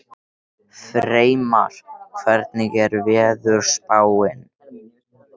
Freymar, hvernig er veðurspáin?